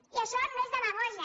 i això no és demagògia